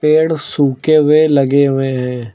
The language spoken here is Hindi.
पेड़ सूखे हुए लगे हुए हैं।